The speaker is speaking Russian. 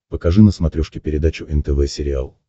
покажи на смотрешке передачу нтв сериал